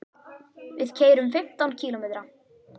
Við keyrum fimmtán kílómetra.